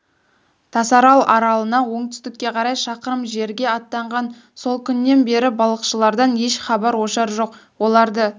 тасарал аралынан оңтүстікке қарай шақырым жерге аттанған сол күннен бері балықшылардан еш хабар-ошар жоқ оларды